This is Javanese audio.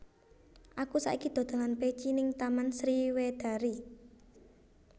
Aku saiki dodolan peci ning Taman Sriwedari